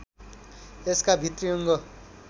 यसका भित्री अङ्ग